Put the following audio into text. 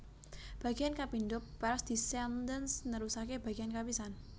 Bagéyan kapindho pars descendens nerusaké bagéyan kapisan